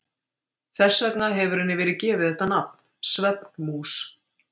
Þess vegna hefur henni verið gefið þetta nafn, svefnmús.